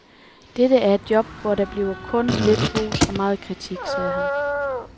Dette er et job, hvor der bliver kun lidt ros og megen kritik, sagde han.